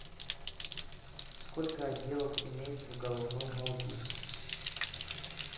сколько отделов имеется в головном мозге